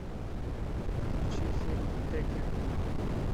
включи фильм теккен